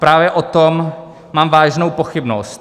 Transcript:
Právě o tom mám vážnou pochybnost.